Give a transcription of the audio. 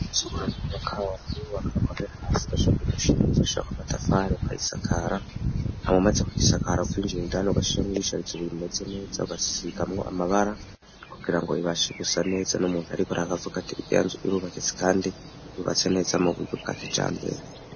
Nzuara y'ububakawe kayubaka gahera hasi kasha ku mushinga bugashakw'amatafali kayisakara ntamumaze kw'isakara kwinjira indani ugashiremwa ibicarizo bimeze neza ugasigamwo amabara kugira ngo bibashe gusa neza no muntu, ariko ara gavuga ate iryanzu irubaketse, kandi bubatse neza mu buryo bwa kija mbere.